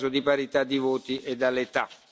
In caso di parità di voti, dall'età.